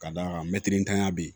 Ka d'a kan mɛtiri tanya bɛ yen